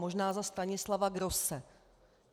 Možná za Stanislava Grosse.